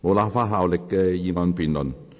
無立法效力的議案辯論。